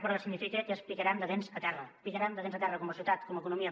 però que significa que ens picarem de dents a terra picarem de dents a terra com a societat com a economia